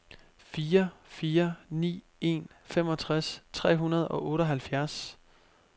fire fire ni en femogtres tre hundrede og otteoghalvfjerds